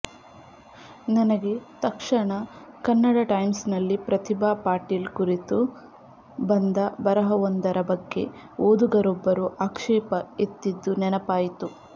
ನನಗೆ ತಕ್ಷಣ ಕನ್ನಡ ಟೈಮ್ಸ್ನಲ್ಲಿ ಪ್ರತಿಭಾ ಪಾಟೀಲ್ ಕುರಿತು ಬಂದ ಬರಹವೊಂದರ ಬಗ್ಗೆ ಓದುಗರೊಬ್ಬರು ಆಕ್ಷೇಪ ಎತ್ತಿದ್ದು ನೆನಪಾಯಿತು